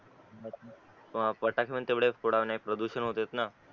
फटाके पण तेवढेच फोडल्याने प्रदूषण होतोय ना